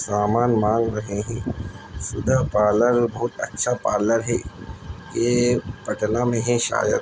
सामान मांग रहे हैं। सुधा पार्लर बोहोत अच्छा पार्लर है। ये पटना में है शायद।